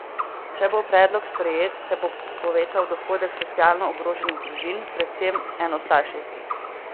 Če bo predlog sprejet, se bo povečal dohodek socialno ogroženih družin, predvsem enostarševskih.